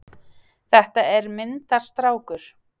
Þetta er myndarstrákur.